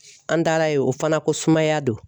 An taara yen o fana ko sumaya don